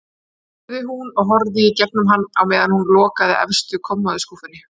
spurði hún og horfði í gegnum hann á meðan hún lokaði efstu kommóðuskúffunni.